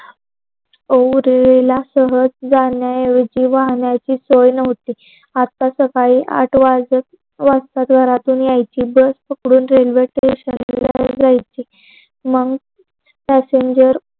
उवरील सहज जाण्याची वाहण्याची सोय नव्हती. आत्या सकाळी आठ वाजत वाजत. घरातून यायची. जर मंग पयसेनजर